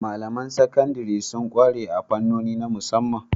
Malamain Sakandare sun kware a fannoni na musamman